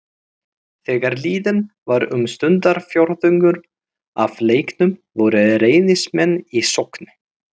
Þegar liðinn var um stundarfjórðungur af leiknum voru Reynismenn í sókn.